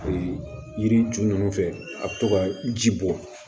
yiri ju ninnu fɛ a bɛ to ka ji bɔ